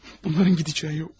Bunların gedəcəyi yox.